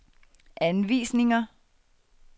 anvisninger